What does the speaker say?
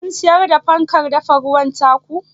Kun siyar da fankar dafa ruwan ta ku?